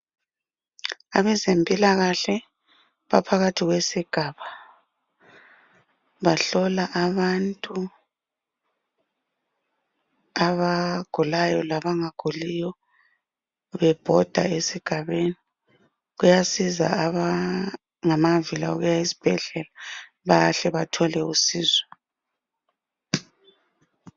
Abezempilakahle baphakathi kwesigaba, bahlola abantu abagulayo labangaguliyo bebhoda esigabeni. Kuyasiza abangamavila okuya esibhedlela bayahle bathole usizo.